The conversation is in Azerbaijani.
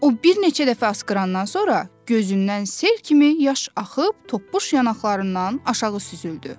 O bir neçə dəfə askırandan sonra gözündən sel kimi yaş axıb, toppuş yanaqlarından aşağı süzüldü.